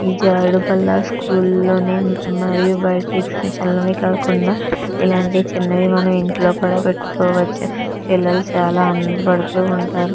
ఈ జారుడు బల్ల స్కూల్ లోనే ఉమ్ మరియు బయట ఎక్సిబిషన్ లోనే కాకుండా ఇలాంటి చిన్నవి మనం ఇంట్లో కూడా పెట్టుకోవచ్చు పిల్లలు చాల ఆనంద పాడుతూ ఉంటారు.